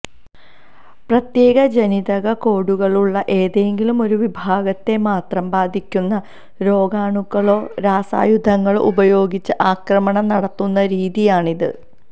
പ്രത്യേക ജനിതക കോഡുകളുള്ള ഏതെങ്കിലും ഒരു വിഭാഗത്തെ മാത്രം ബാധിക്കുന്ന രോഗാണുക്കളോ രാസായുധങ്ങളോ ഉപയോഗിച്ച് ആക്രമണം നടത്തുന്ന രീതിയാണിത്